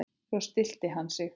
Svo stillti hann sig.